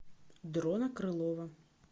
дрона крылова